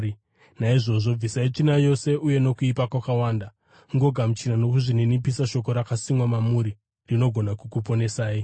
Naizvozvo, bvisai tsvina yose uye nokuipa kwakawanda, mugogamuchira nokuzvininipisa, shoko rakasimwa mamuri, rinogona kukuponesai.